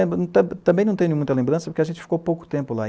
E também não tenho muita lembrança, porque a gente ficou pouco tempo lá.